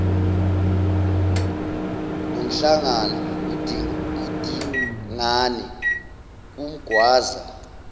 nomhlangana udingane umgwaza